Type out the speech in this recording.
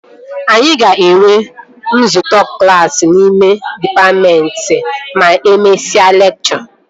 Anyị ga-enwe nzukọ klassi n'ime dịpatmentị ma e mesịa lekchọ